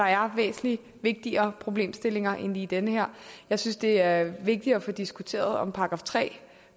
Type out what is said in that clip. er væsentlig vigtigere problemstillinger end lige den her jeg synes det er vigtigere at få diskuteret om § tre